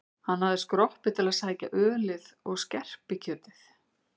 Hann hafði skroppið til að sækja ölið og skerpikjötið.